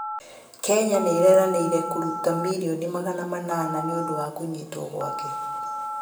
Kenya nĩireranĩire kũrũta milioni magana manana nĩũndũ wa kũnyĩtwo gwake